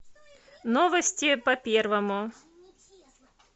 новости по первому